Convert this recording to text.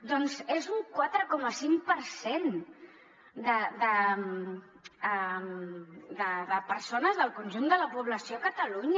doncs és un quatre coma cinc per cent de persones del conjunt de la població a catalunya